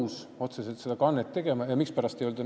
Sellepärast, et see võib ju tähendada maksuküsimuse tekkimist.